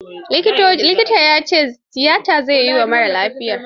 Likitan ya ce tiyata zai yi wa marar lafiyar.